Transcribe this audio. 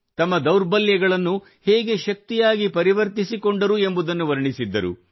ತಮ್ಮ ದೌರ್ಬಲ್ಯಗಳನ್ನು ಹೇಗೆ ಶಕ್ತಿಯಾಗಿ ಪರಿವರ್ತಿಸಿಕೊಂಡರು ಎಂಬುದನ್ನು ವರ್ಣಿಸಿದ್ದರು